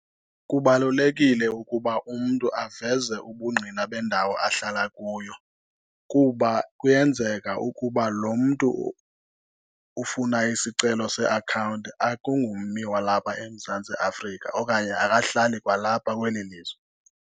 Kubalulekile ukuba umntu aveze ubungqina bendawo ahlala kuyo, kuba kuyenzeka ukuba lo mntu ufuna isicelo seakhawunti akungummi walapha eMzantsi Afrika okanye akahlali kwalapha kweli lizwe.